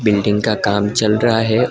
Building का काम चल रहा है।